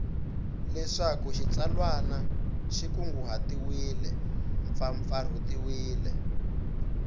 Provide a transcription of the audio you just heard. leswaku xitsalwana xi kunguhatiwile mpfapfarhutiwile